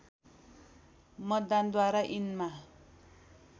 मतदानद्वारा यिनमा